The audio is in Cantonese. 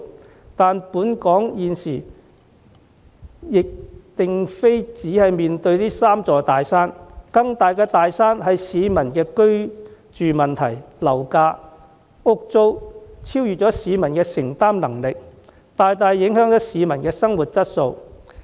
然而，香港現時並不只有這三座"大山"，更大的"大山"是市民的居住問題，樓價、房屋租金超越市民的承擔能力，大大影響市民的生活質素。